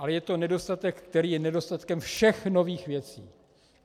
Ale je to nedostatek, který je nedostatkem všech nových věcí.